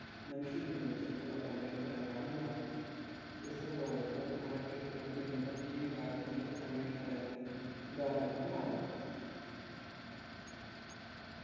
മനുഷ്യൻ നിർമിച്ചിട്ടുള്ള തണ്ണീർത്തടങ്ങൾ ആണ് ഇവ reservoir ഉകൾ അണക്കെട്ടുകൾ എന്നിവ ഈ വിഭാഗത്തിലെ തണ്ണീർത്തടങ്ങൾക്ക് ഉദാഹരങ്ങൾ ആണ്